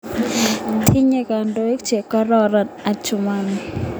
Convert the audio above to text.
Tinyei kandoik che kororon Adjumani